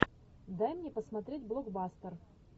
дай мне посмотреть блокбастер